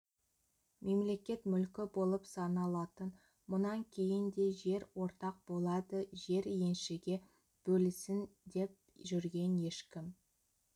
мемлекет мүлкі болып саналатын мұнан кейін де жер ортақ болады жер еншіге бөлінсін деп жүрген ешкім